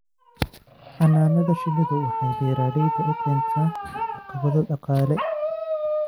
Xannaanada shinnidu waxay beeralayda u keentaa caqabado dhaqaale.